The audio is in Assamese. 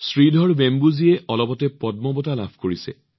শ্ৰীধৰ বেম্বুজীয়ে অলপতে পদ্ম বঁটা লাভ কৰিছে